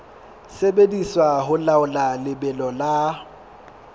sebediswa ho laola lebelo la